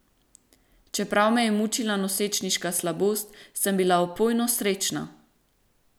Čeprav me je mučila nosečniška slabost, sem bila opojno srečna.